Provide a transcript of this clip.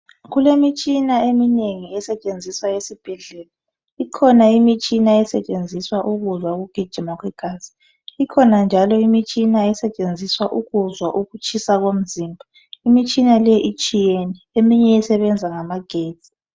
Kulemitshina eminengi esetshenziswa esibhedlela ikhona imitshina esetshenziswa ukuzwa ukugijima kwegazi ikhona njalo imitshina esetshenziswa ukuzwa ukutshisa komzimba, imitshina le itshiyene eminye isebenza ngamagetsi.